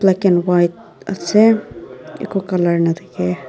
black and white ase eku colour nathakae.